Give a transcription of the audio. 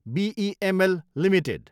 BEML Ltd